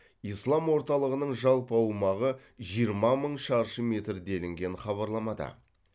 ислам орталығының жалпы аумағы жиырма мың шаршы метр делінген хабарламада